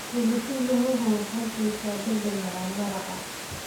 Pilipili hoho waxay siisaa dhadhan macaan maraq.